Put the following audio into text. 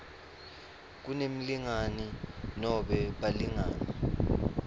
kunemlingani nobe balingani